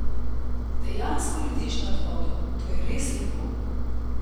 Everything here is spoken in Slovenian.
Dejansko letiš nad vodo, to je res lepo.